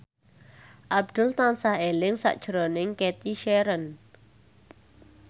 Abdul tansah eling sakjroning Cathy Sharon